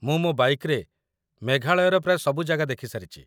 ମୁଁ ମୋ ବାଇକ୍‌ରେ ମେଘାଳୟର ପ୍ରାୟ ସବୁ ଜାଗା ଦେଖି ସାରିଚି ।